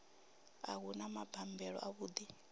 a hu na mabambelo avhuḓi